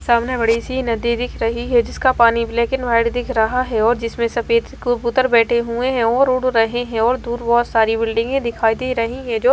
सामने बड़ी सी नदी दिख रही है जिसका पानी ब्लैक एंड व्हाइट दिख रहा है और जिसमें सफेद कबूतर बैठे हुए हैं और उड़ रहे हैं और दूर बहुत सारी बिल्डिंगें दिखाई दे रही हैं जो--